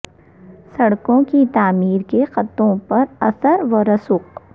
سڑکوں کی تعمیر کے خطوں کے اثر و رسوخ